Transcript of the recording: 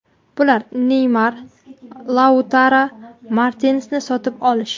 Bular – Neymar va Lautaro Martinesni sotib olish.